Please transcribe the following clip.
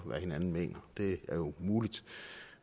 hvad hinanden mener det er jo muligt